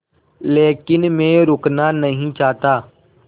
लेकिन मैं रुकना नहीं चाहता